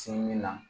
Sin min na